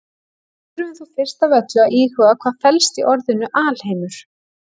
Við þurfum þó fyrst af öllu að íhuga hvað felst í orðinu alheimur.